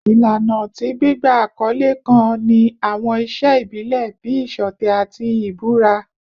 Ilana ti gbigba akọle kan ni awọn iṣe ibile bii iṣọtẹ ati ibura